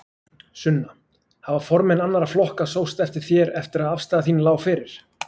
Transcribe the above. Sunna: Hafa formenn annarra flokka sóst eftir þér eftir að afstaða þín lá fyrir?